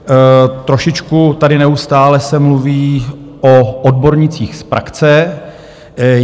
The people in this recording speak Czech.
Trošičku tady neustále se mluví o odbornících z praxe.